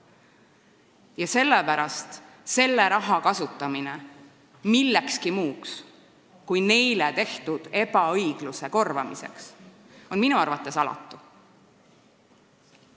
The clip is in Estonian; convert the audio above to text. Ja sellepärast selle raha kasutamine millekski muuks kui neile inimestele osaks saanud ebaõigluse korvamiseks on minu arvates alatu.